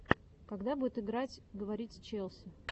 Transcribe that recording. когда будет играть говорить с челси